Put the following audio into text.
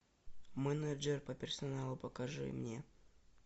менеджер по персоналу покажи мне